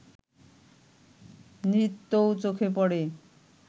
নৃত্যও চোখে পড়ে